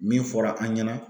Min fɔra an ɲɛna